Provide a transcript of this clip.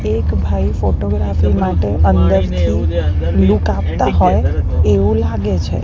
એક ભાઈ ફોટોગ્રાફી માટે અંદરથી લુક આપતા હોય એવું લાગે છે.